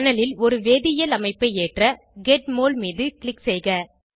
panel ல் ஒரு வேதியியல் அமைப்பை ஏற்ற கெட் மோல் மீது க்ளிக் செய்க